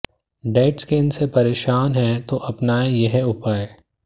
dead skin से परेशान हैं तो अपनाएं यह उपाए